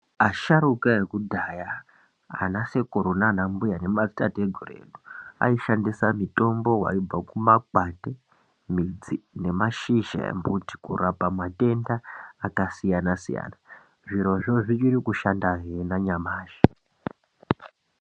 Asharuka eku dhaya ana sekuru nana mbuya ne madzi tateguru edu aishandisa mitombo waibva kuma kwati , midzi ne ma shizha embuti kurapa matenda aka siyana siyana zvirozvo zvichiri kushanda hee na nyamashi.